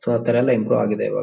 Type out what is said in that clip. so ಆತರ ಎಲ್ಲಾ improve ಆಗಿದೆ ಇವಾಗ--